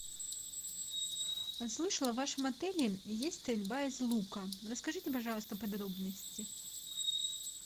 слышала в вашем отеле есть стрельба из лука расскажите пожалуйста подробности